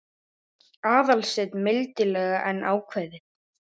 Aðalsteinn mildilega en ákveðið.